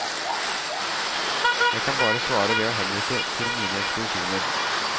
Jeg kan bare svare ved å henvise til mine ekspedisjoner.